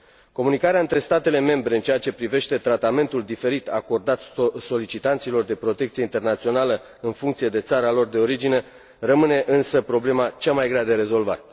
Comunicarea între statele membre în ceea ce privește tratamentul diferit acordat solicitanților de protecție internațională în funcție de țara lor de origine rămâne, însă, problema cel mai greu de rezolvat.